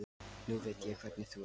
Nú veit ég hvernig þú ert!